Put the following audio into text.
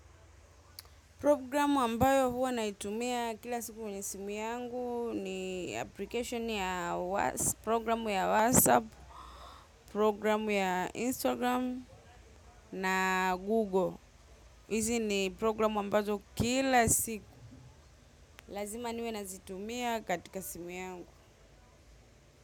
Programu ambayo huwa naitumia kila siku kwenye simu yangu ni application ya programu ya WhatsApp, programu ya Instagram na Google. Hizi ni programu ambazo kila siku. Lazima niwe nazitumia katika simu yangu.